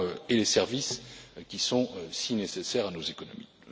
et les services qui sont si nécessaires à nos économies.